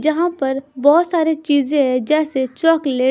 जहाँ पर बहोत सारी चीजें हैं जैसे चॉकलेट --